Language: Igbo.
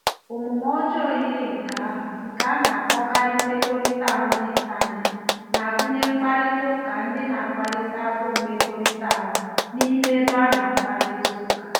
Omume ọjọọ yiri nke ahụ, nke a na-akpọkarị mmekọrịta ahụ n’Intanet, na-agụnye mkparịta ụka ndị na-akplịte agụụ mmekọrịta ahụ n'ime ebe a na-akparịta ụka n'intanet.